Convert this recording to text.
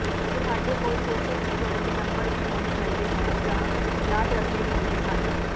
ਤੁਹਾਡੇ ਕੋਲ social security number ਵੀ ਹੋਣੇ ਚਾਹੀਦੇ ਹਨ ਜਾਂ ਯਾਦ ਰੱਖਣੇ ਚਾਹੀਦੇ ਹਨ